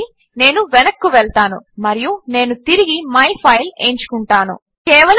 కాబట్టి నేను వెనక్కు వెళ్తాను మరియు నేను తిరిగి మై ఫైల్ ఎంచుకుంటాను